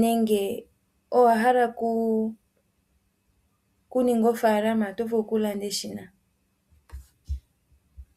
nenge owahala okuninga ofaalama oto vulu oku landa eshina